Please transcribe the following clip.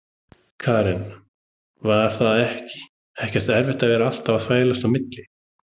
Karen: Var það ekkert erfitt að vera alltaf að þvælast á milli?